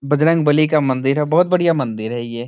बजरंगबली का मंदिर है बहुत बढ़िया मंदिर है ये।